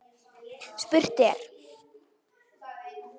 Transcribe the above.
Spurt er?